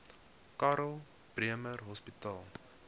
karl bremer hospitaal